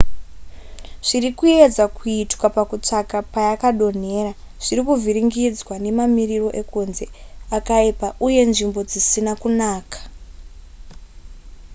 zviri kuedzwa kuitwa pakutsvaka payakadonhera zviri kuvhiringidzwa nemamiriro ekunze akaipa uye nzvimbo dzisina kunaka